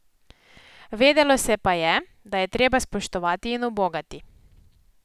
Vedelo se pa je, da je treba spoštovati in ubogati.